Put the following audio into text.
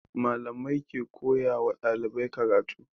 Malamai ke koya wa ɗalibai karatu